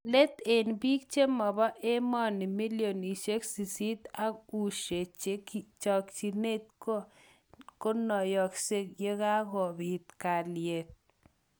Let eng eng bik chemobo emoni millionoshek sisit ak ushee chekinget konoyoksek yekakobit kalyet.